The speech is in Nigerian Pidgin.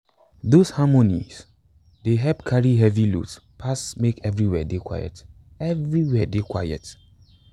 those harmonies dey help carry heavy loads pass make everywhere dey quiet everywhere dey quiet